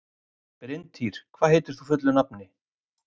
Bryntýr, hvað heitir þú fullu nafni?